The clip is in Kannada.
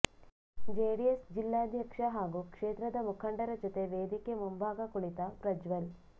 ಜೆಡಿಎಸ್ ಜಿಲ್ಲಾಧ್ಯಕ್ಷ ಹಾಗೂ ಕ್ಷೇತ್ರದ ಮುಖಂಡರ ಜೊತೆ ವೇದಿಕೆ ಮುಂಭಾಗ ಕುಳಿತ ಪ್ರಜ್ವಲ್